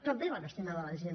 també va destinat a la gent